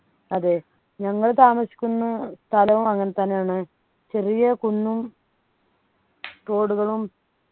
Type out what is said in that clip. അതെ ഞങ്ങൾ താമസിക്കുന്ന സ്ഥലവും അങ്ങനെ തന്നെയാണ് ചെറിയ കുന്നും തോടുകളും